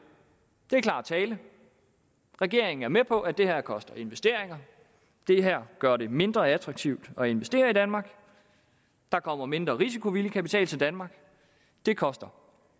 det er klar tale regeringen er med på at det her koster investeringer det her gør det mindre attraktivt at investere i danmark der kommer mindre risikovillig kapital til danmark det koster